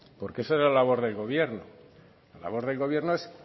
porque esa es la labor del gobierno el labor del gobierno es